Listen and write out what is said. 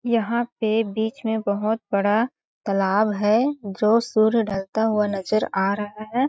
यहाँ पे बीच में बहुत बड़ा तालाब है जो सूर्य ढलता हुआ नजर आ रहा है।